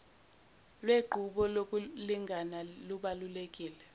lwenqubo yokulingana lubalulekile